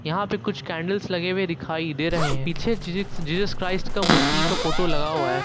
यहां पर कुछ कैंडल्स लगे हुए दिखाई दे रहे हैं पीछे जीसस जीसस क्राइस्ट का मूर्ति का फोटो लगा हुआ है।